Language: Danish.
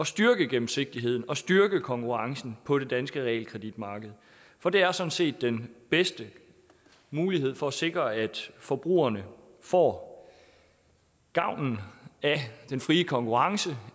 styrke gennemsigtigheden og styrke konkurrencen på det danske realkreditmarked for det er sådan set den bedste mulighed for at sikre at forbrugerne får gavnen af den frie konkurrence